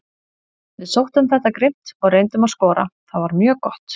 Við sóttum þetta grimmt og reyndum að skora, það var mjög gott.